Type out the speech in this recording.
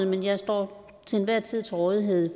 men jeg står til enhver tid til rådighed